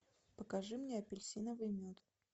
покажи мне апельсиновый мед